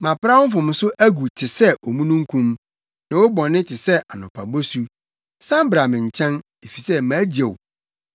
Mapra wo mfomso agu te sɛ omununkum ne wo bɔne te sɛ anɔpa bosu. San bra me nkyɛn, efisɛ magye wo.”